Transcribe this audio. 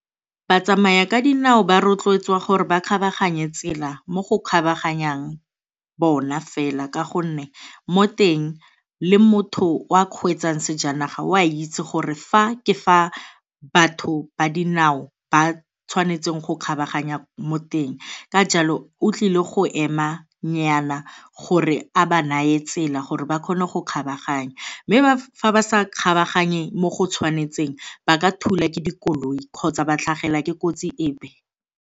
Batsamaya ka dinao ba rotloetswa gore ba kgabaganye tsela mo go kgabaganyang bona fela ka gonne mo teng le motho o a kgweetsang sejanaga o a itse gore fa ke fa batho ba dinao ba tshwanetseng go kgabaganya mo teng ka jalo o tlile go emanyana gore a ba nae tsela gore ba kgone go kgabaganya. Mme fa ba sa kgabaganye mo go tshwanetseng ba ka thulwa ke dikoloi kgotsa ba tlhagelwa ke kotsi epe.